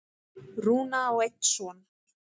Rúna á einn son.